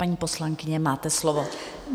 Paní poslankyně, máte slovo.